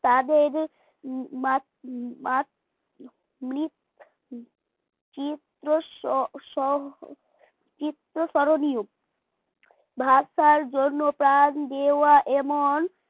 তাদের মাত মাত মৃত চিত্র সহ চিত্র স্মরণীয় ভাষার জন্য প্রাণ দেওয়া এবং